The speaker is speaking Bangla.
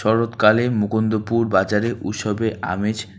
শরৎকালে মুকুন্দপুর বাজারে উৎসবে আমেজ।